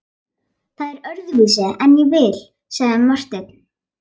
Það er öðruvísi en ég vil, sagði Marteinn.